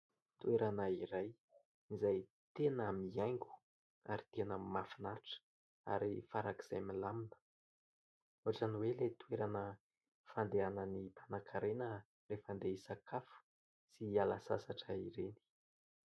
Toerana iray izay tena mihaingo ary tena mahafinatra ary faran'izay milamina, ohatran'ny hoe ilay toerana fandehanan'ny mpanankarena rehefa andeha hisakafo sy hiala sasatra ireny.